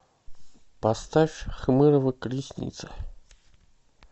поставь хмырова колесница